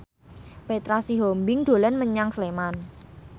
Petra Sihombing dolan menyang Sleman